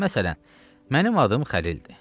Məsələn, mənim adım Xəlildir.